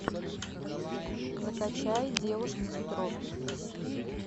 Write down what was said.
закачай девушка с петровки